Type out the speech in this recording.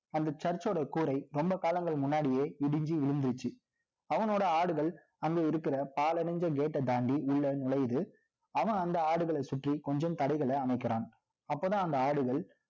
அந்த church கூரை ரொம்ப காலங்கள் முன்னாடியே இடிஞ்சு விழுந்திருச்சு. அவனோட ஆடுகள் அங்கே இருக்கிற பாழடைஞ்ச gate அ தாண்டி உள்ள நுழையுது அவன் அந்த ஆடுகளை சுற்றி கொஞ்சம் தடைகளை அமைக்கிறான் அப்பதான் அந்த ஆடுகள்